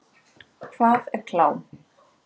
Hvað er klám?